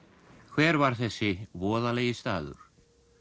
hver var þessi voðalegi staður